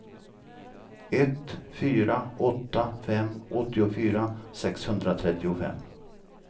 ett fyra åtta fem åttiofyra sexhundratrettiofem